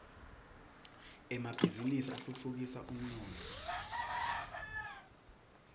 emabhiznnisi atfutfukisa umnotfo